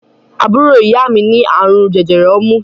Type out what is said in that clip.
Àbúrò ìyá mi ní àrùn jẹjẹrẹ ọmú.